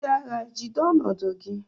Ndị agha, jide ọnọdụ gị!